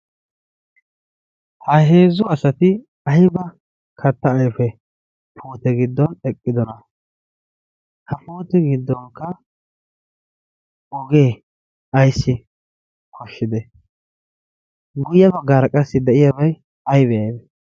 ha heezzu asati ayba katta ayfe puute giddon eqqidona. ha pooti giddonkka ogee ayssi koshshide guyya baggaara qassi de'iyaabay aybe?